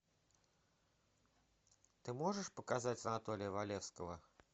ты можешь показать анатолия валевского